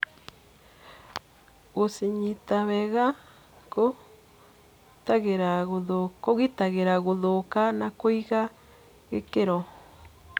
gũcinyita wega kũitagĩra gũthũka na kũiga gĩkĩro.